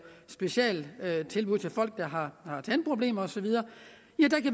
specialtilbud til folk der har tandproblemer og så videre